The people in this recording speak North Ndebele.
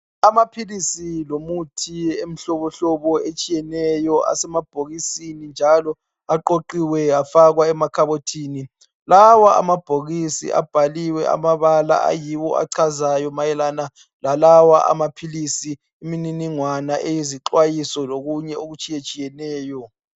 Amaphilisi lomithi emihlobo hlobo etshiyeneyo asemabhokisini njalo aqoqiwe afakwa emakhabothini lawa amabhokisi abhaliwe amabala ayiwo achazayo mayelana lalawa amaphilisi imininingwane eyizixwayiso lokunye okutshiye tshiyeneyo.